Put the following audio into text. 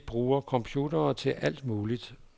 Vi bruger computere til alt muligt.